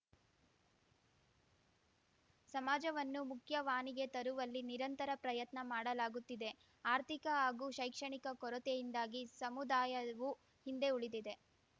ಸಮಾಜವನ್ನು ಮುಖ್ಯವಾನಿಗೆ ತರುವಲ್ಲಿ ನಿರಂತರ ಪ್ರಯತ್ನ ಮಾಡಲಾಗುತ್ತಿದೆ ಆರ್ಥಿಕ ಹಾಗೂ ಶೈಕ್ಷಣಿಕ ಕೊರತೆಯಿಂದಾಗಿ ಸಮುದಾಯವು ಹಿಂದೆ ಉಳಿದಿದೆ